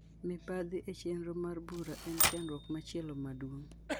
Mibadhi e chenro mar bura en chandruok machielo maduong'.